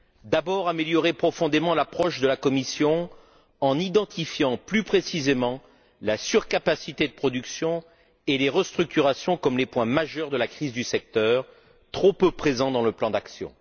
D'abord, améliorer profondément l'approche de la Commission en identifiant plus précisément la surcapacité de production et les restructurations comme les points majeurs de la crise du secteur, trop peu présents dans le plan d'action.